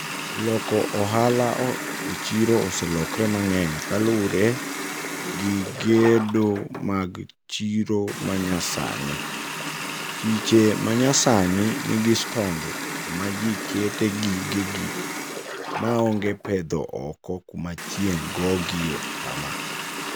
Loko ohala olo e chiro oselokre mang'eny kalure gi gedo mag chiro ma nyasani. Chiche ma nyasani nigi stonde kuma ji kete gige gi ma onge pedho oko kuma chieng' gogie kama.